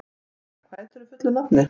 Sera, hvað heitir þú fullu nafni?